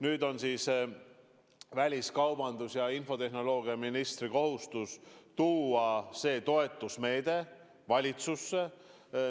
Nüüd on siis väliskaubandus- ja infotehnoloogiaministri kohustus tuua see toetusmeede valitsusse.